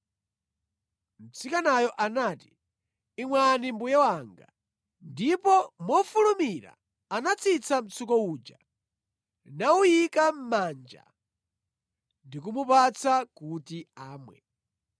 Mtsikanayo anati, “Imwani mbuye wanga.” Ndipo mofulumira anatsitsa mtsuko uja nawuyika mʼmanja ndi kumupatsa kuti amwe.